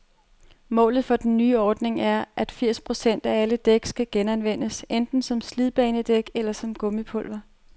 Målet for den nye ordning er, at firs procent af alle dæk skal genanvendes, enten som slidbanedæk eller som gummipulver.